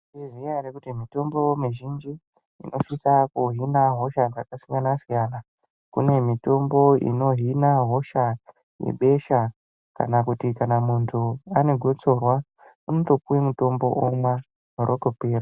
Mwaizviziya ere kuti mitombo mizhinji ,inosisa kuhina hosha dzakasiyana-siyana .Kune mitombobinohina hosha dzebesha, kana kuti kana muntu ane gotsorwa unotopuwe mutombo omwa, rotopera.